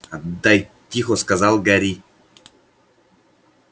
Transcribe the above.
отдай тихо сказал гарри